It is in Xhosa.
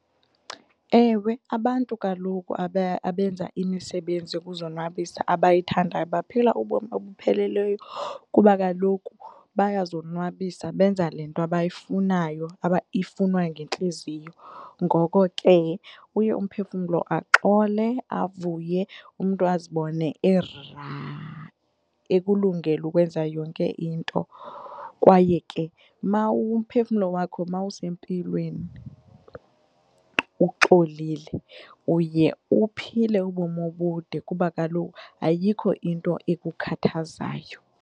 Ewe, abantu kaloku abenza imisebenzi yokuzonwabisa abayithandayo baphila ubomi obupheleleyo kuba kaloku bayazonwabisa benza le nto abayifunayo ifunwa yintliziyo ngoko ke uye umphefumlo axole, avuye umntu azibone ekulungele ukwenza yonke into kwaye ke mawumphefumlo wakho mawusempilweni uxolile uye uphile ubomi obude kuba kaloku ayikho into ekukhathazayo.